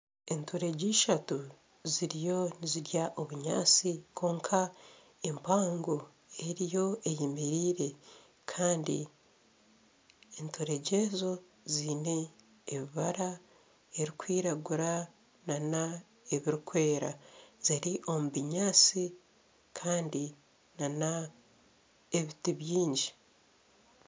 Enturegye ishatu ziriyo nizirya obunyasti kwonka empango eriyo eyemereire Kandi enturegye ezo zeine ebibara ebirikwiragura na na ebirikwera. Ziri omu binyaasti Kandi na na ebiti byingi.